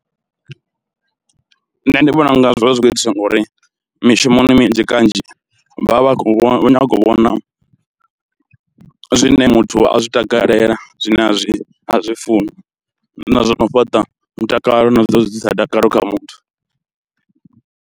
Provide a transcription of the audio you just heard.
Nṋe ndi vhona unga zwi vha zwi khou itiswa ngauri mishumoni minzhi kanzhi vha vha vha khou nyaga u vhona zwine muthu a zwi takalela, zwine a zwi a zwi funi, fhaṱa mutakalo na zwa u ḓisa dakalo kha muthu.